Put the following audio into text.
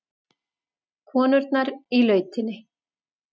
Konurnar í lautinni.